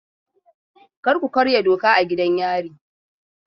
Kar ku karya doka a gidan yari!